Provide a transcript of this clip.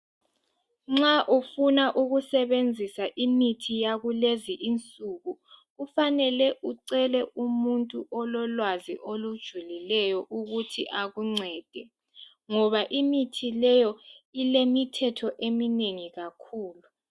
Nxa ufuna ukusebenzisa imithi yakulezi insuku kufanele ucele umuntu ololwazi olujulileyo ukuthi akuncede ngoba imithi leyo ilemithetho eminengi kakhulu.